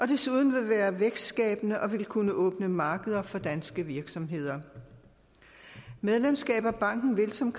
desuden være vækstskabende og kunne åbne markeder for danske virksomheder medlemskab af banken vil som